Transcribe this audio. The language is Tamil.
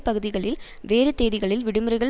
பகுதிகளில் வேறு தேதிகளில் விடுமுறைகள்